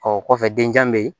Ɔ kɔfɛ denjan bɛ yen